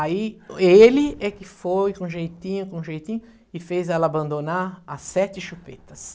Aí ele é que foi com jeitinho, com jeitinho, e fez ela abandonar as sete chupetas.